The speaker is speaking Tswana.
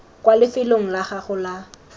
kwa lefelong la gago la